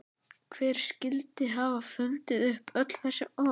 Hver skyldi hafa fundið upp öll þessi orð?